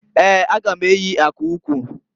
Eeǃ A ga m eyi aka ukwu.